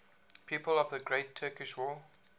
people of the great turkish war